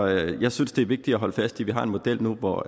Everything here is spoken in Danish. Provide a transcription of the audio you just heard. jeg synes det er vigtigt at holde fast i at vi har en model nu hvor